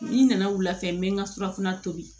N nana wulafɛ n bɛ n ka surafana tobi